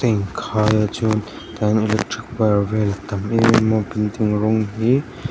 a in khaia chuan ta hian electric var vel a tam em em building rawng hi--